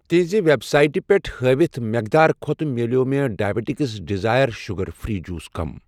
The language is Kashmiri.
تِہنٛزِ وٮ۪ب سایٹہٕ پٮ۪ٹھ ہٲوتھ مٮ۪قدار کھۄتہٕ میلیٛوو مےٚ diabetics desire sugar free juice کم